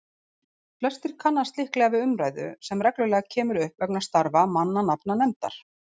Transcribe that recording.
Flestir kannast líklega við umræðu sem reglulega kemur upp vegna starfa mannanafnanefndar.